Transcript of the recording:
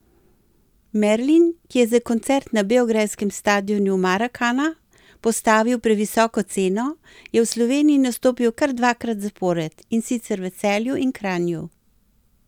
Merlin, ki je za koncert na beograjskem stadionu Marakana postavil previsoko ceno, je v Sloveniji nastopil kar dvakrat zapored, in sicer v Celju in Kranju.